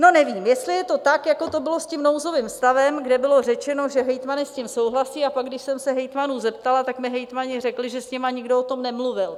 No nevím, jestli je to tak, jako to bylo s tím nouzovým stavem, kde bylo řečeno, že hejtmani s tím souhlasí, a pak, když jsem se hejtmanů zeptala, tak mi hejtmani řekli, že s nimi nikdo o tom nemluvil.